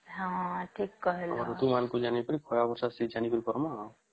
ହଁ ଠିକ୍ କହିଲ ତାପରେ କୁ ଜାଣିକି ଖରା ବର୍ଷ ସିଏ ଜାଣିକି କରିମା